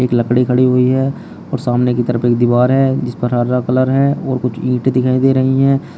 लकड़ी खड़ी हुई है और सामने की तरफ एक दीवार है जिस पर हरा कलर है और कुछ ईट दिखाई दे रही है।